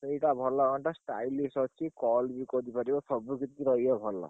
ଏଇଟା ଭଲ ଘଣ୍ଟା stylish ଅଛି। call ବି କରିପାରିବ। ସବୁ କିଛି ରହିବ ଭଲ।